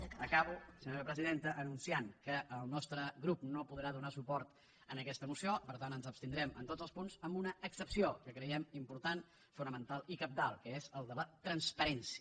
acabo senyora presidenta anunciant que el nostre grup no podrà donar suport a aquesta moció per tant ens abstindrem en tots els punts amb una excepció que creiem important fonamental i cabdal que és el de la transparència